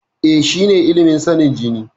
E, shine ilimin sanin jini.